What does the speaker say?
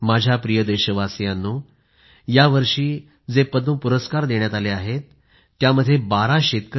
माझ्या प्रिय देशवासियांनो यावर्षी जे पद्म पुरस्कार देण्यात आले आहेत त्यामध्ये 12 शेतकऱ्यांना पद्म पुरस्कार मिळाले आहेत